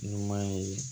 Ɲuman ye